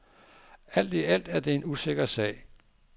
Alt i alt er det en usikker sag.